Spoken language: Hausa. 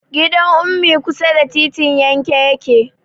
Gidan Ummi kusa da titin yanke yake.